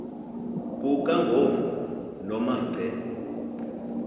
kukangovolo noma ngce